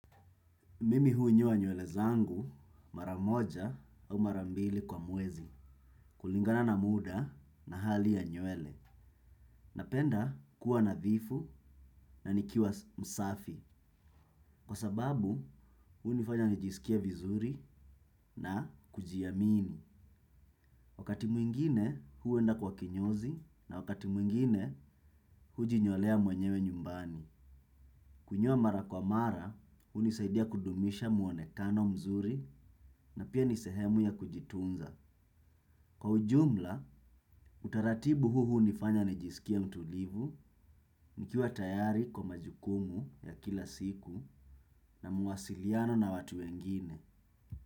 Mimi hua unyoa nywele zangu mara moja au mara mbili kwa mwezi kulingana na muda na hali ya nywele. Napenda kuwa nadhifu na nikiwa msafi kwa sababu hunifanya nijisikie vizuri na kujiamini. Wakati mwingine huenda kwa kinyozi na wakati mwingine hujinyolea mwenyewe nyumbani. Kunyoa mara kwa mara hunisaidia kudumisha muonekano mzuri na pia ni sehemu ya kujitunza. Kwa ujumla, utaratibu huu hunifanya nijisikia mtulivu, nikiwa tayari kwa majukumu ya kila siku na mawasiliano na watu wengine.